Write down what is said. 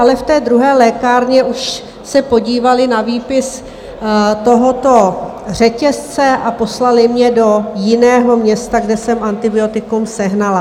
Ale v té druhé lékárně už se podívali na výpis tohoto řetězce a poslali mě do jiného města, kde jsem antibiotikum sehnala.